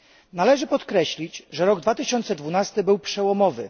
Należy podkreślić, że rok 2012 był przełomowy.